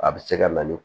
A bɛ se ka na ni